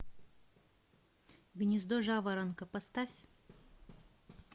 гнездо жаворонка поставь